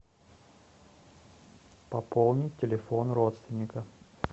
пополни телефон родственника